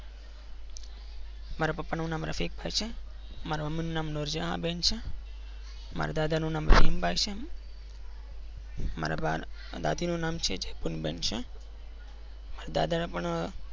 મારા પાપા નું નામ રસિક ભાઈ છે. મારા મમ્મી નું નામ નૂરજહાં બેન છે. મારા દાદા નું નામ રહીમ ભાઈ છે. મારા દાદી નું નામ નામ છે મારા દાદા પણ